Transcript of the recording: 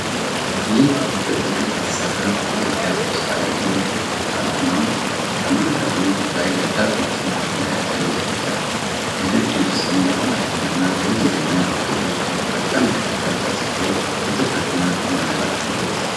ይህ በክብ ቅርጽ የተሰራ የኢትዮጵያ ፖስታ አገልግሎት ድርጅት አርማ ነው። በማዕከሉ ላይ ደብዳቤዎችን በዱላ የያዘ እጅ አለ። የድርጅቱ ስም በአማርኛና በእንግሊዝኛ በክበቡ ዙሪያ በቅደም ተከተል ተጽፎ በትኩረት እና ቁምነገር አገልግሎቱን ይገልጻል።